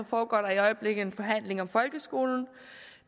foregår der i øjeblikket en forhandling om folkeskolen